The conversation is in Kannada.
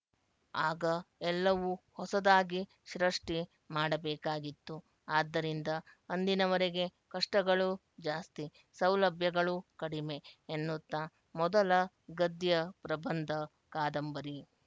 ಆಗ ಎಲ್ಲವೂ ಹೊಸದಾಗಿ ಸೃಷ್ಟಿ ಮಾಡಬೇಕಾಗಿತ್ತು ಆದ್ದರಿಂದ ಅಂದಿನವರೆಗೆ ಕಷ್ಟಗಳು ಜಾಸ್ತಿ ಸೌಲಭ್ಯಗಳು ಕಡಿಮೆ ಎನ್ನುತ್ತಾ ಮೊದಲ ಗದ್ಯ ಪ್ರಬಂಧಕಾದಂಬರಿ